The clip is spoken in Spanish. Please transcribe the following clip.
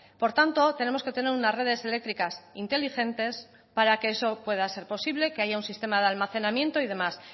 por tanto tenemos que tener unas redes eléctricas inteligentes para que eso pueda ser posible que haya un sistema de almacenamiento y demás